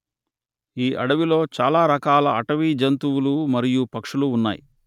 ఈ అడవిలో చాలా రకాల అటవీ జంతువులు మరియు పక్షులు ఉన్నాయి